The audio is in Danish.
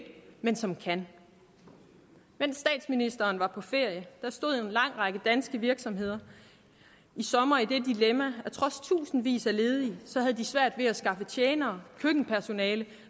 men som kan mens statsministeren var på ferie stod en lang række danske virksomheder i sommer i det dilemma at trods tusindvis af ledige havde de svært ved at skaffe tjenere køkkenpersonale